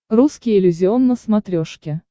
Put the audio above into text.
русский иллюзион на смотрешке